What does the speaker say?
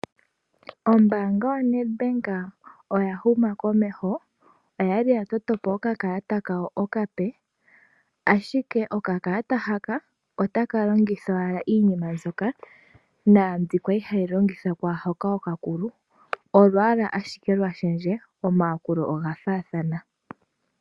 Ombanga yoNed Bank oya huma komeho, oya li ya totopo oka kalata kawo okape ashike oka kalata haka otaka longithwa owala iinima mbyoka kwa li hayi longithwa kwaaha oka kulu olwaala ashike lwa shendje omayakulu oga fathana.